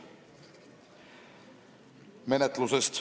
Nüüd menetlusest.